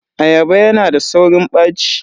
Ayaba yana da saurin ɓaci.